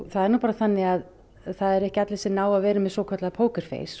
það er nú bara þannig að það eru ekki allir sem ná að vera með svokallað